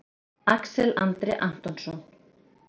Axel Andri Antonsson